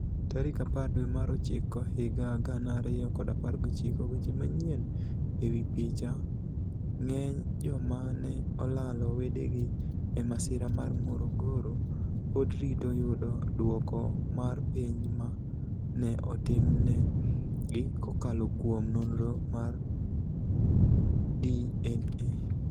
Tarik apar dwe mar ochiko higa 2019 Weche Maniyieni e wi picha, nig'eniy joma ni e olalo wedegi e masira mar Morogoro pod rito yudo dwoko mar penij ma ni e otimni egi kokalo kuom noniro mar DniA.